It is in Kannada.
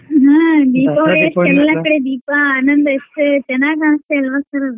ಹ್ಮ್ ದೀಪಾವಳಿ ಎಲ್ಲ ಕಡೆ ದೀಪ ಆನಂದ ಎಷ್ಟೇ ಚೆನ್ನಾಗ್ ಕಾಣಿಸ್ತಿಲ್ವ sir ಅದು.